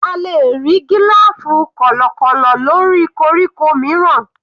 A lè rí gílòfù kọ̀lọ̀kọ̀lọ̀ lórí koríko mìíràn.